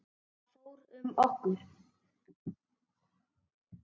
Það fór um okkur.